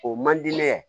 O man di ne ye